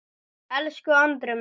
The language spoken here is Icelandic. Elsku Andri minn.